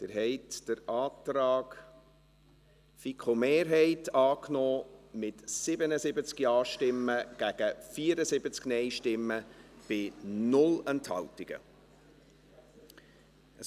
Sie haben den Antrag der FiKo-Mehrheit mit 77 Ja- gegen 74 Nein-Stimmen bei 0 Enthaltungen angenommen.